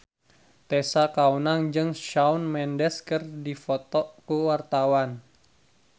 Tessa Kaunang jeung Shawn Mendes keur dipoto ku wartawan